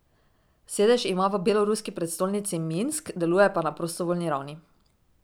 Sedež ima v beloruski prestolnici Minsk, deluje pa na prostovoljni ravni.